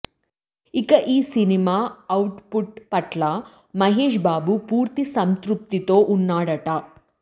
ఇక ఈ cinema output పట్ల మహేశ్ బాబు పూర్తి సంతృప్తితో వున్నాడట